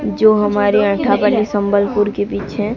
जो हमारे यहां ढाबा संबलपुर के पीछे--